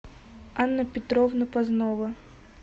анна петровна познова